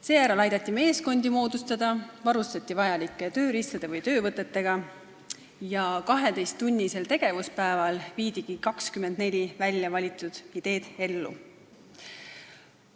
Seejärel aidati meeskondi moodustada, varustati need vajalike tööriistade või töövõtetega ja 12-tunnisel tegevuspäeval viidigi 24 väljavalitud ideed ellu.